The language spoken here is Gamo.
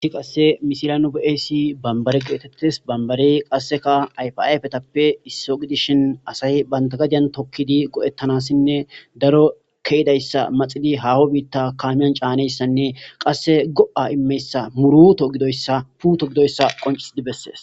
isi qasse misilanu be7asi bambare geetettis bambari qasseka yfayfetappe isso gidishin asahi bantagajan tokkidi go7ettanassinne daro kehidayssa maxili haaho biitta kamiyan caaneyssanne qasse go7a immeyssa muruto gidoyssa puto gidoyssa qoncisidi bessees